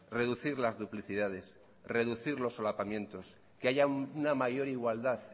reducir las duplicidades reducir los solapamientos que haya una mayor igualdad